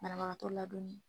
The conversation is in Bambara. Banabagatɔ ladonni